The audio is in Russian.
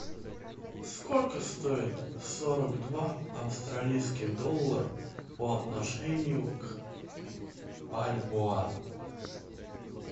сколько стоит сорок два австралийский доллар по отношению к бальбоа